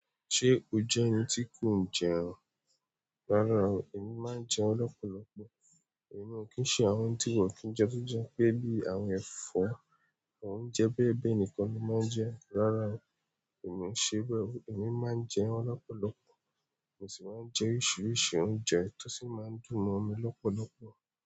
Ṣé o jẹ́ ẹni tí kò ń jẹun? Rárá o, èmi máa ń jẹun lọ́pọ̀lọpọ̀, èmi ò kí ń ṣe àwọn tí wọ́n ki ń jẹ fúnjẹ pé bí àwọn ẹ̀fọ́, àwọn oúnjẹ bẹ́ẹ̀ bẹ́ẹ̀ nìkan ni mo máa ń jẹ. Rárá o, èmi ò ṣe bẹ́ẹ̀ o, èmi máa ń jẹun lọ́pọ̀lọpọ̀, mo sì máa ń jẹ oríṣiríṣi oúnjẹ tó sì máa ń dùn mo mí lọ́pọ̀lọpọ̀